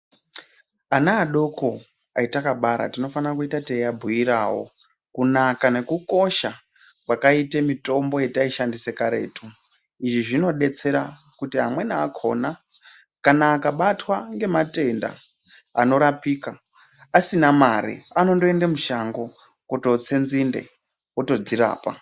Ana adoko atakabara tinofana kuita teiabhuiravo kunaka nekukosha kwakaite mitombo yataishandisa karetu. Izvi zvinobetsera kuti amweni akona kana akabatwa ngematenda anorapika asina mare anondoende mushango kundotse nzinde otodzirapa.